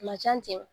Ma can ten